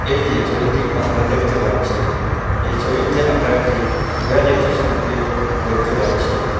এই যে ছবিটি আমরা দেখতে পাচ্ছি। এই ছবিতে আমরা একটি রেল স্টেশন কে দেখতে পাচ্ছি।